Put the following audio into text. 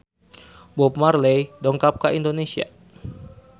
Bob Marley dongkap ka Indonesia